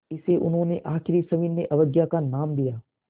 इसे उन्होंने आख़िरी सविनय अवज्ञा का नाम दिया